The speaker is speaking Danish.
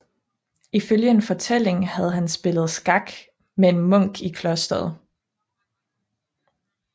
Ifølge en fortælling havde han spillet skak med en munk i klosteret